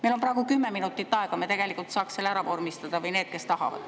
Meil on praegu kümme minutit aega, me tegelikult saaks selle ära vormistada, või need saaks, kes tahavad.